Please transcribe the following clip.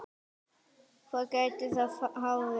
Hvað gæti það hafa verið?